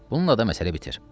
Bununla da məsələ bitir.